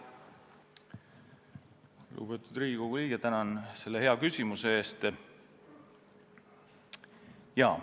Lugupeetud Riigikogu liige, tänan selle hea küsimuse eest!